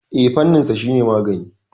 Eh, fanninsa shine magani.